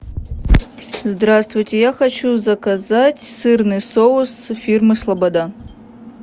здравствуйте я хочу заказать сырный соус фирмы слобода